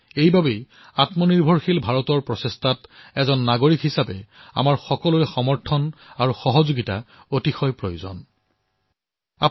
সেইবাবে আত্মনিৰ্ভৰ ভাৰতৰ দিশত এজন নাগৰিক হিচাপে আমাৰ সকলোৰে সংকল্প সমৰ্পণ আৰু সহযোগিতা অতিশয় আৱশ্যক অনিবাৰ্য